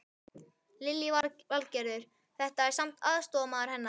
Lillý Valgerður: Þetta var samt aðstoðarmaður hennar?